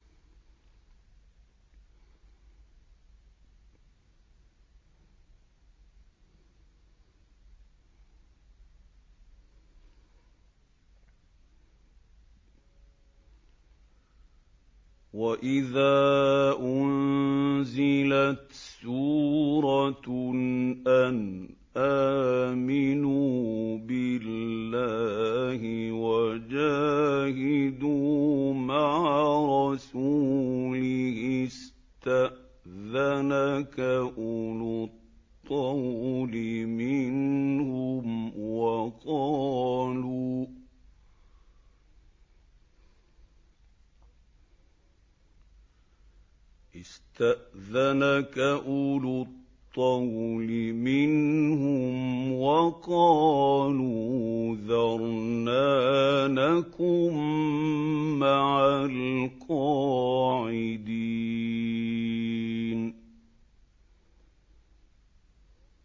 وَإِذَا أُنزِلَتْ سُورَةٌ أَنْ آمِنُوا بِاللَّهِ وَجَاهِدُوا مَعَ رَسُولِهِ اسْتَأْذَنَكَ أُولُو الطَّوْلِ مِنْهُمْ وَقَالُوا ذَرْنَا نَكُن مَّعَ الْقَاعِدِينَ